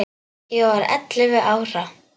Ég var ellefu ára.